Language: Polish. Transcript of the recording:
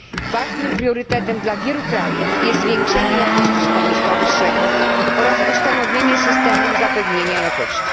Ważnym priorytetem dla wielu krajów jest poprawa jakości szkolnictwa wyższego oraz ustanowienie systemów zapewnienia jakości.